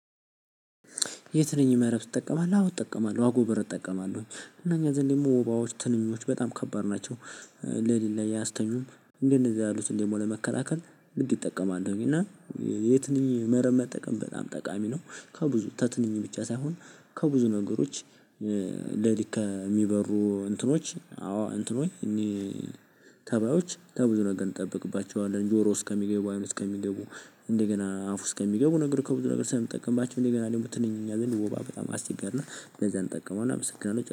የትንኝ መረብ ትጠቀማለህ አዎ ትጠቀማለህ አጎበር እጠቀማለሁ እና እኛ ዘንድ ደግሞ ወባዎች ትንኞች በጣም ከባድ ናቸው። ሌሊት ላይ አያስተኙም እንደነዚህ ያሉትን ደግሞ ለመከላከል። ምን ትጠቀማለህ እና? የትንኝ መረብ መጠቀም በጣም ጠቃሚ ነው። ከብዙ ተትንኝ ብቻ ሳይሆን ከብዙ ነገሮች ለሊት ከሚበሩ እንትኖች አዎ እንትንኖይ እኒ ተባዮች ከብዙ ነገር እንጠበቅባቸዋለን። ጆሮ ውስጥ ከሚገቡ አይን ውስጥ ከሚገቡ እንደገና አፉ ውስጥ ከሚገቡ ነገር ከብዙ ነገር ስለምንጠቀምባቸው። እንደገና ደሞ ትንኝ እኛ ዘንድ ወባ በጣም አስቸጋሪና ለዛ እንጠቀመዋለን። አመሰግናለሁ